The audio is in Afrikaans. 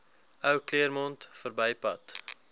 ou claremont verbypad